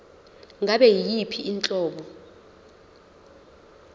ngabe yiyiphi inhlobo